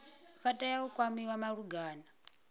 vha tea u kwamiwa malugana